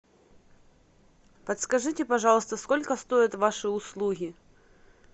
подскажите пожалуйста сколько стоят ваши услуги